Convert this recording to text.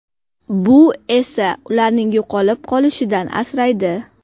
Bu esa ularning yo‘qolib qolishidan asraydi.